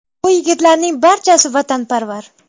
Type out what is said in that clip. Bu yigitlarning barchasi vatanparvar.